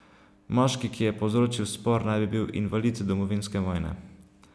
Moški, ki je povzročil spor, naj bi bil invalid domovinske vojne.